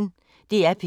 DR P1